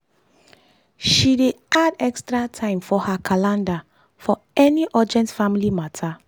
she dey add extra time for her calendar for any urgent family matter.